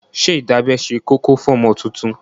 Ṣé ìdábẹ́ ṣe kókó fún ọmọ tuntun?